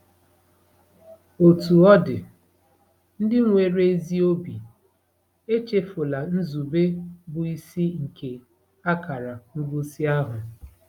Otú ọ dị, ndị nwere ezi obi, echefula nzube bụ́ isi nke akara ngosi ahụ.